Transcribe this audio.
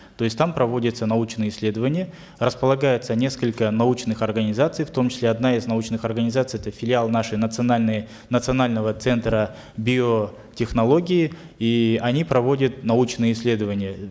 то есть там проводятся научные исследования располагаются несколько научных организаций в том числе одна из научных организаций это филиал нашей национальной национального центра биотехнологий и они проводят научные исследования